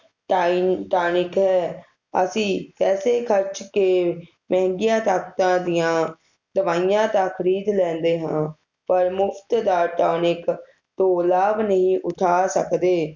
ਟਾਇਨ tonic ਹੈ ਅਸੀਂ ਪੈਸੇ ਖਰਚ ਕੇ ਮਹਿੰਗਗਿਆ ਡਾਕਟਰਾਂ ਦੀਆ ਦਵਾਈਆਂ ਤਾ ਖਰੀਦ ਲੈਂਦੇ ਹਾਂ ਪਰ ਮੁਫ਼ਤ ਦਾ ਟੌਨਿਕ ਤੋਂ ਲਾਭ ਨਹੀਂ ਉਠਾ ਸਕਦੇ